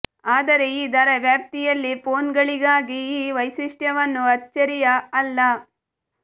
ಆದರೆ ಈ ದರ ವ್ಯಾಪ್ತಿಯಲ್ಲಿ ಫೋನ್ಗಳಿಗಾಗಿ ಈ ವೈಶಿಷ್ಟ್ಯವನ್ನು ಅಚ್ಚರಿಯ ಅಲ್ಲ